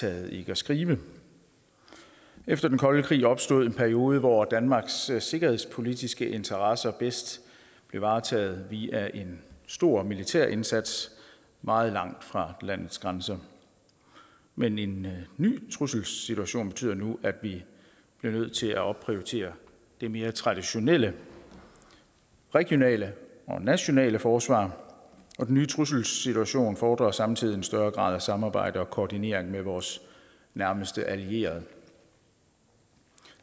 taget ikke at skrive efter den kolde krig opstod en periode hvor danmarks sikkerhedspolitiske interesser bedst blev varetaget via en stor militærindsats meget langt fra landets grænser men en ny trusselssituation betyder nu at vi bliver nødt til at opprioritere det mere traditionelle regionale og nationale forsvar og den nye trusselssituation fordrer samtidig en større grad af samarbejde og koordinering med vores nærmeste allierede